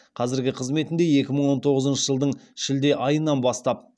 қазіргі қызметінде екі мың он тоғызыншы жылдың шілде айынан бастап